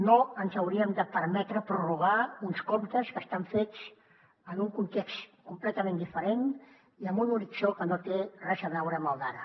no ens hauríem de permetre prorrogar uns comptes que estan fets en un context completament diferent i amb un horitzó que no té res a veure amb el d’ara